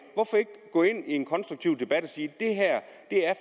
hvorfor ikke gå ind i en konstruktiv debat og sige det her er